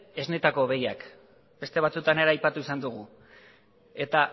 esnetako behiak beste batzutan ere aipatu izan dugu eta